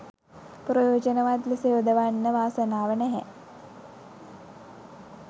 ප්‍රයෝජනවත් ලෙස යොදවන්න වාසනාව නැහැ.